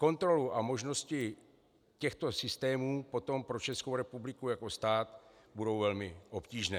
Kontroly a možnosti těchto systémů potom pro Českou republiku jako stát budou velmi obtížné.